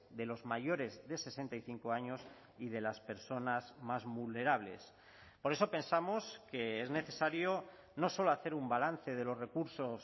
de los mayores de sesenta y cinco años y de las personas más vulnerables por eso pensamos que es necesario no solo hacer un balance de los recursos